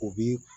U bi